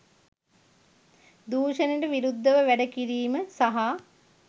දුෂණයට විරුද්ධව වැඩ කිරීම සහ